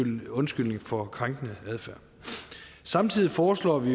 en undskyldning for krænkende adfærd samtidig foreslår vi